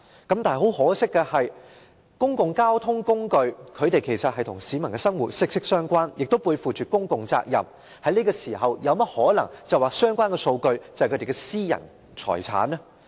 然而，公共交通工具其實與市民的生活息息相關，這些機構背負着公共責任，怎可能在這時候說相關數據是他們的私人財產呢？